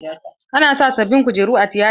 An sa sabin kujeru a tiyata.